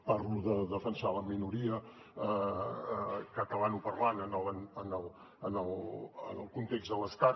parlo de defensar la minoria catalanoparlant en el context de l’estat